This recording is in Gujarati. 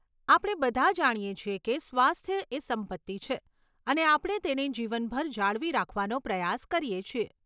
આપણે બધા જાણીએ છીએ કે સ્વાસ્થ્ય એ સંપત્તિ છે અને આપણે તેને જીવનભર જાળવી રાખવાનો પ્રયાસ કરીએ છીએ.